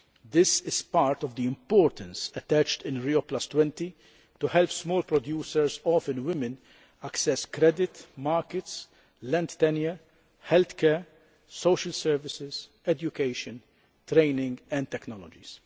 This is part of the importance attached in Rio20 to help small producers often women access credit, markets, land tenure, health care, social services, education, training and technologies.